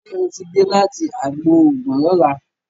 Ṣe o tí dé láti àgbò oògùn lola?